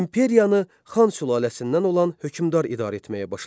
İmperiyanı Xan sülaləsindən olan hökmdar idarə etməyə başladı.